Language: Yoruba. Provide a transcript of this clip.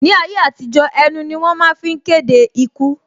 Ni ayé àtijó, ẹnu ni wọ́n fi ń máa ń kéde ikú